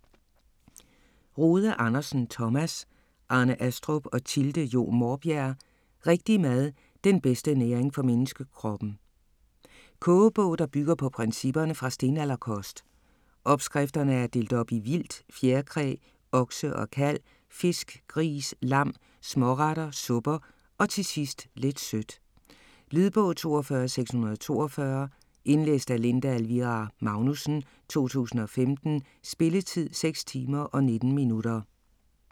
Rode Andersen, Thomas, Arne Astrup og Thilde Jo Maarbjerg: Rigtig mad: den bedste næring for menneskekroppen Kogebog, der bygger på principperne fra stenalderkost. Opskrifterne er delt op i vildt, fjerkræ, okse og kalv, fisk, gris, lam, småretter, supper og til sidst lidt sødt. Lydbog 42642 Indlæst af Linda Elvira Magnussen, 2015. Spilletid: 6 timer, 19 minutter.